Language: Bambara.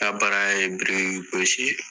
N ka baara ye biriki gosi ye